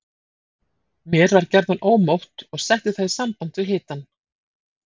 Mér var gjarnan ómótt og setti það í samband við hitann.